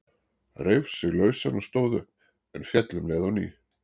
Reif sig lausan og stóð upp, en féll um leið á ný.